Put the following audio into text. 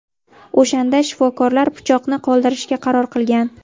O‘shanda shifokorlar pichoqni qoldirishga qaror qilgan.